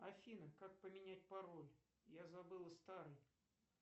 афина как поменять пароль я забыла старый